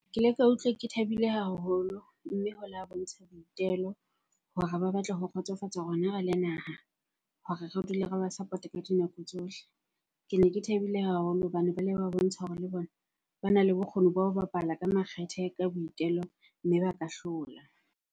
Ke le ka utlwa ke thabile haholo mme ho la bontsha boitelo hore ba batla ho kgotsofatsa rona re le naha, hore re dule re ba support-a ka dinako tsohle. Kene ke thabile haholo hobane ba ba bontsha hore le bona bana le bokgoni ba ho bapala ka makgethe ka boitelo mme ba ka hlola.